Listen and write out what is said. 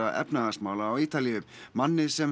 efnahagsmála á Ítalíu manni sem